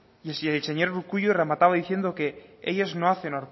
el señor urkullu remataba diciendo que ellos no hacen